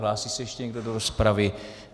Hlásí se ještě někdo do rozpravy?